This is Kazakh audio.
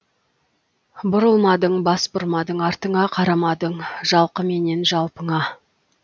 бұрылмадың бас бұрмадың артыңа қарамадың жалқы менен жалпыңа